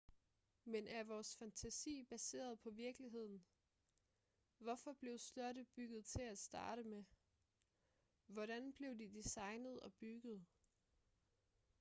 men er vores fantasi baseret på virkeligheden hvorfor blev slotte bygget til at starte med hvordan blev de designet og bygget